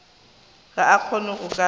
ga a kgone go ka